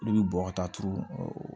Olu bɛ bɔn ka taa turu o